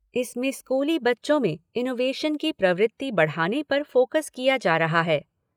इसमें स्कूली बच्चों में इनोवेशन की प्रवृति बढ़ाने पर फोकस किया जा रहा है।